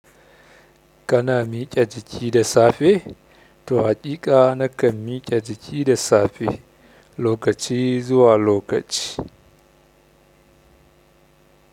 Ka na miƙe jiki da safe? To haƙiƙa nakan miƙe jiki da safe lokaci zuwa lokaci.